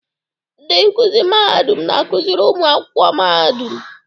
Ndị nkuzi mahadum na-akụziri ụmụ akwụkwọ mahadum.